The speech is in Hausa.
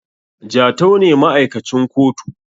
Jatau ne ma`aikacin kotu